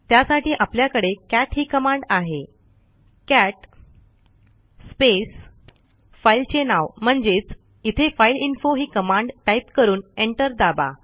त्यासाठी आपल्याकडे कॅट ही कमांड आहे कॅट स्पेस फाईलचे नाव म्हणजेच इथे फाइलइन्फो ही कमांड टाईप करून एंटर दाबा